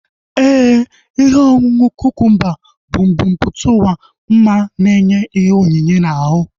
Éè, ihe ọṅụṅụ kukumba bụ mbumputauwa ma na enye ihe onyinye na ahu